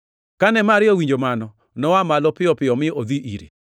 Kane Maria owinjo mano, noa malo piyo piyo mi odhi ire.